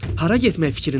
Hara getmək fikrindəsən?